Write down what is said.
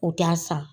U t'a san